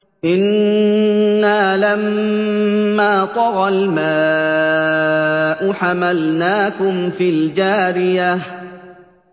إِنَّا لَمَّا طَغَى الْمَاءُ حَمَلْنَاكُمْ فِي الْجَارِيَةِ